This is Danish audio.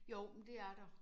Jo men det er der